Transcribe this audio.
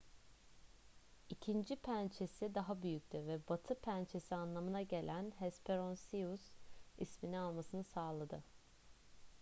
i̇kinci pençesi daha büyüktü ve batı pençesi anlamına gelen hesperonychus ismini almasını sağladı